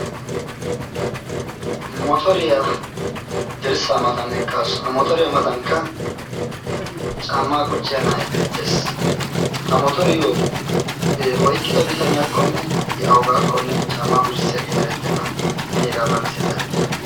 motoriyaa dirssa matan eqqaasu ha motoriyaa matankka cammaa qucciya na7ai beettees ha motoriyyo oiqqida bitaniyaakkonne i augaakkonne caammaa qucissiyaagee erettenna hani hegaa malissiya zaarete